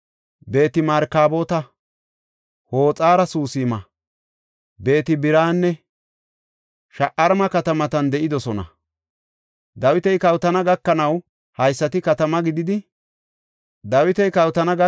Beet-Markaboota, Hoxar-Susima, Beet-Biranne Sha7aarima katamatan de7idosona. Dawiti kawotana gakanaw haysati katamata gididi de7idosona.